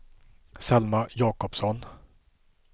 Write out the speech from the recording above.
Selma Jacobsson